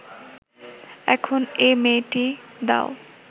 এখন এ মেয়েটি দাও